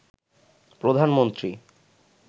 প্রধানমন্ত্রী